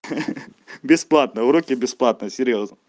хе-хе бесплатные уроки бесплатные серьёзно